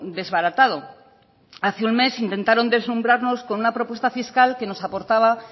desbaratado hace un mes intentaron deslumbrarnos con una propuesta fiscal que nos aportaba